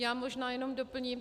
Já možná jenom doplním.